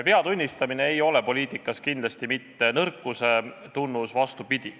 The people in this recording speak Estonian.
Vea tunnistamine ei ole poliitikas kindlasti mitte nõrkuse tunnus – vastupidi.